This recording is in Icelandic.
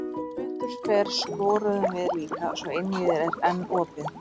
Sem betur fer skoruðum við líka, svo einvígið er enn opið.